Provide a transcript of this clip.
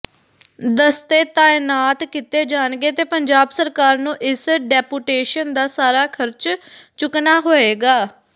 ਦਸਤੇ ਤਾਇਨਾਤ ਕੀਤੇ ਜਾਣਗੇ ਤੇ ਪੰਜਾਬ ਸਰਕਾਰ ਨੂੰ ਇਸ ਡੈਪੂਟੇਸ਼ਨ ਦਾ ਸਾਰਾ ਖਰਚ ਚੁੱਕਣਾ ਹੋਏਗਾ